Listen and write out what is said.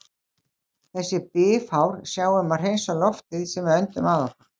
Þessi bifhár sjá um að hreinsa loftið sem við öndum að okkur.